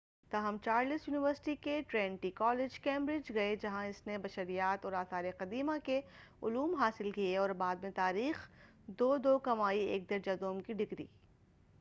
تاہم Charles university کے Trinity college, Cambridge, گئے جہاں اس نے بشریات اور آثار قدیمہ کے علوم حاصل کئے اور بعد میں تاریخ، 2:2 کمائی ایک درجہ دوم کی ڈگری۔